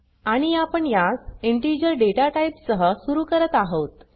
आणि आपण यास इंटीजर डेटा टाइप सह सुरू करत आहोत